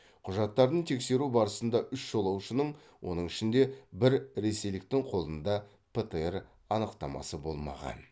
құжаттарын тексеру барысында үш жолаушының оның ішінде бір ресейліктің қолында птр анықтамасы болмаған